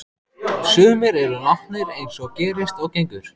Sumir eru látnir eins og gerist og gengur.